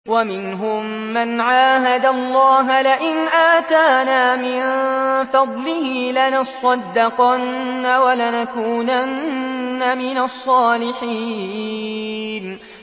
۞ وَمِنْهُم مَّنْ عَاهَدَ اللَّهَ لَئِنْ آتَانَا مِن فَضْلِهِ لَنَصَّدَّقَنَّ وَلَنَكُونَنَّ مِنَ الصَّالِحِينَ